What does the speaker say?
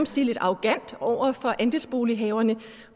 sige arrogant over for andelsbolighaverne